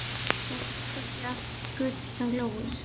Það er víst ekki allt gull sem glóir.